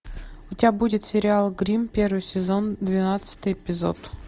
у тебя будет сериал гримм первый сезон двенадцатый эпизод